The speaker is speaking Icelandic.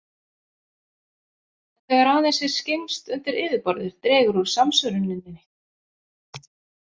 En þegar aðeins er skyggnst undir yfirborðið dregur úr samsvöruninni.